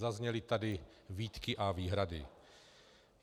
Zazněly tady výtky a výhrady.